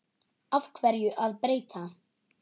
Af hverju að breyta?